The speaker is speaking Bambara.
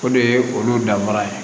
O de ye olu danfara ye